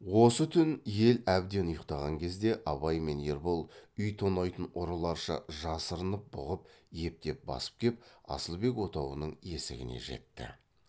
осы түн ел әбден ұйқтаған кезде абай мен ербол үй тонайтын ұрыларша жасырынып бұғып ептеп басып кеп асылбек отауының есігіне жетті